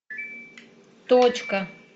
точка